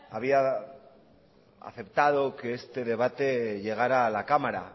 había aceptado que este debate llegara a la cámara